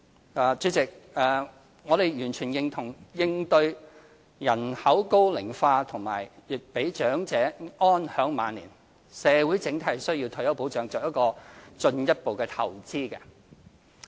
總結主席，我們完全認同為應對人口高齡化和讓長者安享晚年，社會整體須為退休保障作進一步投資。